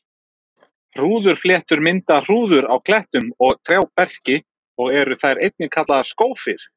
Hrúðurfléttur mynda hrúður á klettum og trjáberki og eru þær einnig kallaðar skófir.